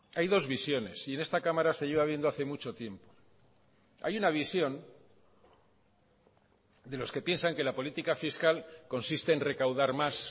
hay dos visiones y en esta cámara se lleva viendo hace mucho tiempo hay una visión de los que piensan que la política fiscal consiste en recaudar más